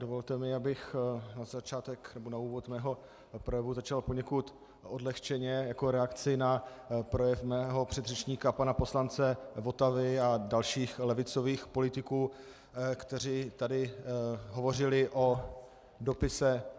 Dovolte mi, abych na začátek nebo na úvod svého projevu začal poněkud odlehčeně jako reakci na projev mého předřečníka pana poslance Votavy a dalších levicových politiků, kteří tady hovořili o dopise